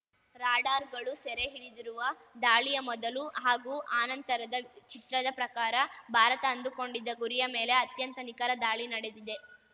ರಾಡಾರ್‌ಗಳು ಸೆರೆ ಹಿಡಿದಿರುವ ದಾಳಿಯ ಮೊದಲು ಹಾಗೂ ಆನಂತರದ ಚಿತ್ರದ ಪ್ರಕಾರ ಭಾರತ ಅಂದುಕೊಂಡಿದ್ದ ಗುರಿಯ ಮೇಲೆ ಅತ್ಯಂತ ನಿಖರ ದಾಳಿ ನಡೆದಿದೆ